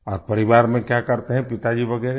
और परिवार में क्या करते हैं पिताजी वगैरह